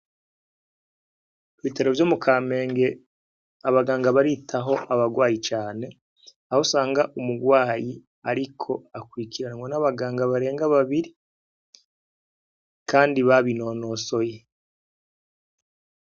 I Bitaro vyo mu kamenge abaganga baritaho abarwayi cane aho sanga umurwayi, ariko akwikiranwa n'abaganga barenga babiri, kandi babinonosoye.